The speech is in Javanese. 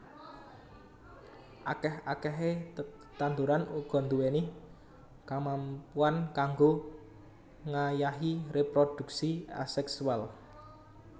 Akèh akèhé tetanduran uga nduwèni kamampuan kanggo ngayahi réprodhuksi asèksual